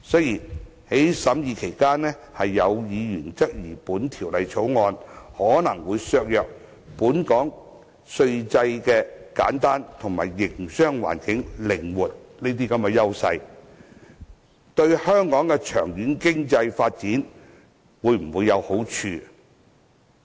在法案委員會審議期間，有議員關注到《條例草案》可能會削弱本港稅制簡單及營商環境靈活的優勢，質疑它對香港長遠經濟發展有否好處。